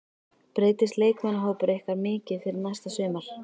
Breytist leikmannahópur ykkar mikið fyrir næsta sumar?